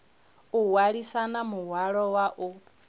o hwalisana muhwalo wa u